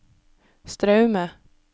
Straume